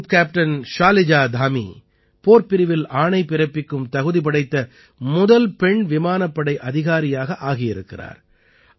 group captain Shaliza Dhami போர்ப்பிரிவில் ஆணை பிறப்பிக்கும் தகுதி படைத்த முதல் பெண் விமானப்படை அதிகாரியாக ஆகியிருக்கிறார்